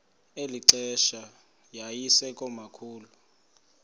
eli xesha yayisekomkhulu